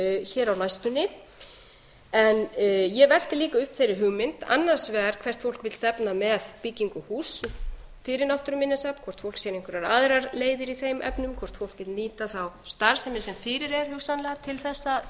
hér á næstunni en ég velti líka upp þeirri hugmynd annars vegar hvert fólk vill stefna með byggingu húss fyrir náttúruminjasafn hvort fólk sér einhverjar aðrar leiðir í þeim efnum hvort fólk vill nýta þá starfsemi sem fyrir er hugsanlega til þess